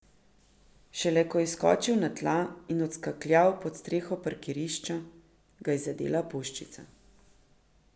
Šele ko je skočil na tla in odskakljal pod streho parkirišča, ga je zadela puščica.